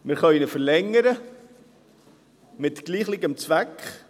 Wir können ihn verlängern, mit demselben Zweck.